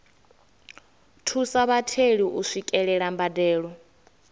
thusa vhatheli u swikelela mbadelo